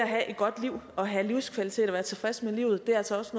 have et godt liv og have livskvalitet og være tilfreds med livet altså også